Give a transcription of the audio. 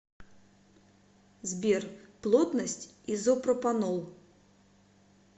сбер плотность изопропанол